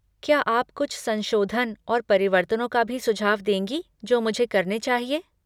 क्या आप कुछ संशोधन और परिवर्तनों का भी सुझाव देंगी जो मुझे करने चाहिए?